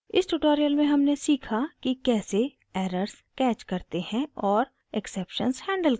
इस ट्यूटोरियल में हमने सीखा कि कैसे: एरर्स कैच करते गलतियाँ ढूँढते हैं और एक्सेप्शन्स हैंडल करते हैं